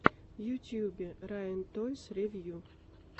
в ютюбе райан тойс ревью